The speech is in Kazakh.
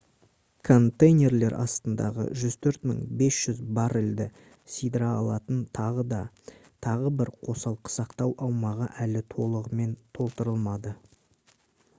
контейнерлер астындағы 104 500 баррельді сыйдыра алатын тағы бір қосалқы сақтау аумағы әлі толығымен толтырылмады